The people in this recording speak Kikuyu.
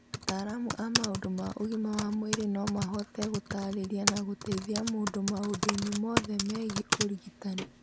Ataramu a maũndũ ma ũgima wa mwĩrĩ no mahote gũtaarĩria na gũteithia mũndũ maũndũ-inĩ mothe megiĩ ũrigitani.